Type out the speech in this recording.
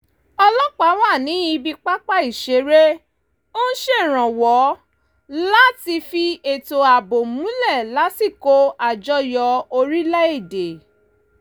ọlọ́pàá wà ní ibi pápá ìṣeré ń ṣèrànwọ́ láti fi ètò ààbò múlẹ̀ lásìkò àjọyọ̀ orílẹ̀ èdè